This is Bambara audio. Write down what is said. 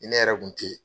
Ni ne yɛrɛ kun te yen